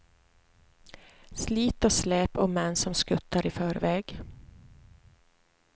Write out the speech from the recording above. Slit och släp och män som skuttar i förväg.